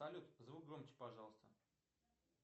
салют звук громче пожалуйста